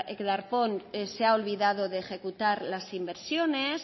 que darpón se ha olvidado de ejecutar las inversiones